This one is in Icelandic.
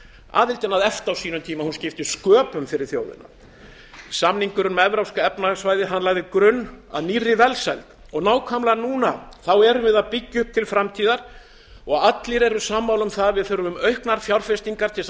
aðildin að efta á sínum tíma skipti sköpum fyrir þjóðina samningurinn um evrópska efnahagssvæðið lagði grunn að nýrri velsæld nákvæmlega núna erum við að byggja upp til framtíðar og allir eru sammála um að við þurfum auknar fjárfestingar til að